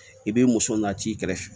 I bɛ muso na t'i kɛrɛfɛ